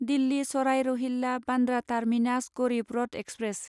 Delhi Sarai Rohilla Bandra terminus Garib Rath express